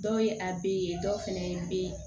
Dɔw ye a be ye dɔw fɛnɛ be yen